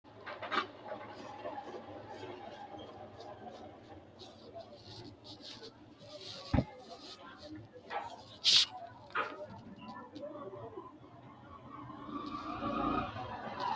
Kuni manchi macca manchooti ko manchi macca manchcho ikinohu korkaatisinna loosisi sirbbaho kuni manchi lowo sirbba surbbinoha ikkanna xaa yaanara kaayiinni lubbotenni dino